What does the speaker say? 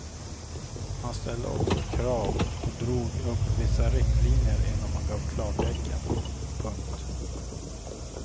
Man ställde också krav och drog upp vissa riktlinjer innan man gav klartecken. punkt